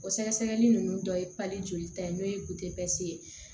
O sɛgɛsɛgɛli nunnu dɔ ye jolita ye n'o ye ye